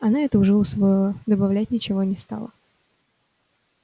она это уже усвоила добавлять ничего не стала